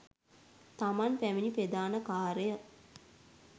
තමන් පැමිණි ප්‍රධාන කාර්යය